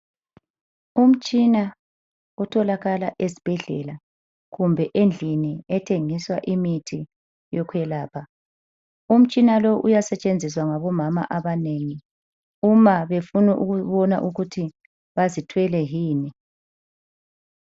Umtshina otholakala ezibhedlela kumbe endlini ethengisa imithi yokwelapha. Umitshina uyasetshenziswa ngabomama abanengi uma befuna ukubona ukuthi bazithwele yini.